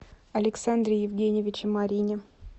александре евгеньевиче марьине